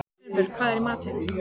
Sveinbjörg, hvað er í matinn?